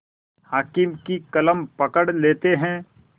हाकिम की कलम पकड़ लेते हैं